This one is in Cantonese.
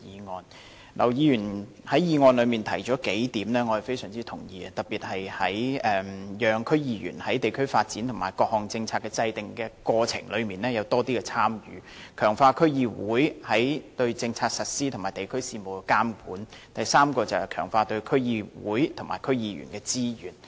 我非常認同劉議員在議案中提出的數點，特別是讓區議員在地區發展及各項政策的制訂過程中有更多的參與、強化區議會對政策實施及地區事務的監管，以及第三點，就是強化對區議會及區議員的支援。